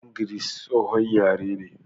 Yaren Giris, tsohon yare ne.